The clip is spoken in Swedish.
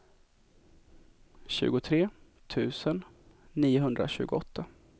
tjugotre tusen niohundratjugoåtta